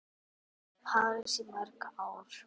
Þær bjuggu í París í mörg ár.